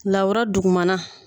Lawura duguma na.